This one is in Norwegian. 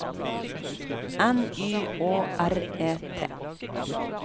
N Y Å R E T